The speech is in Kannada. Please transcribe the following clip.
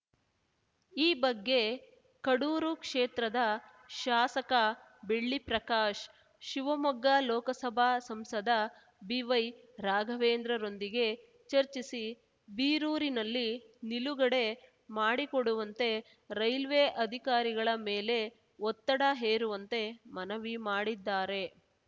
ಈ ಬಗ್ಗೆ ಕಡೂರು ಕ್ಷೇತ್ರದ ಶಾಸಕ ಬೆಳ್ಳಿ ಪ್ರಕಾಶ್‌ ಶಿವಮೊಗ್ಗ ಲೋಕಸಭಾ ಸಂಸದ ಬಿವೈ ರಾಘವೇಂದ್ರರೊಂದಿಗೆ ಚರ್ಚಿಸಿ ಬೀರೂರಿನಲ್ಲಿ ನಿಲುಗಡೆ ಮಾಡಿಕೊಡುವಂತೆ ರೈಲ್ವೆ ಅಧಿಕಾರಿಗಳ ಮೇಲೆ ಒತ್ತಡ ಹೇರುವಂತೆ ಮನವಿ ಮಾಡಿದ್ದಾರೆ